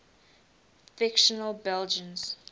fictional belgians